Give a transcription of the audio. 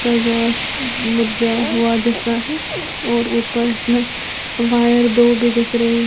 घास मुरझाया हुआ जैसा है और ऊपर इसमें वायर दो भी दिख रही है।